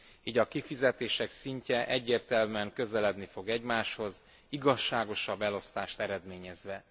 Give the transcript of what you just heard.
Így a kifizetések szintje egyértelműen közeledni fog egymáshoz, igazságosabb elosztást eredményezve.